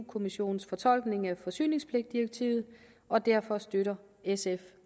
kommissionens fortolkning af forsyningspligtdirektivet og derfor støtter sf